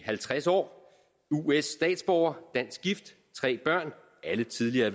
halvtreds år us statsborger dansk gift tre børn alle tidligere